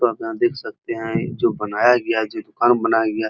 यहाँ पर हम देख सकते हैं जो बनाया गया है जो घर बनाया गया है।